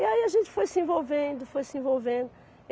E aí a gente foi se envolvendo, foi se envolvendo.